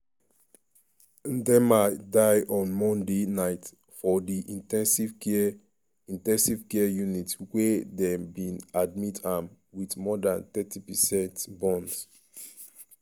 ndiema die on monday night for di in ten sive care in ten sive care unit wia dem bin admit am wit more dan thirty percent burns.